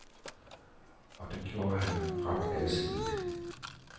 Og det gjorde han ret alsidigt.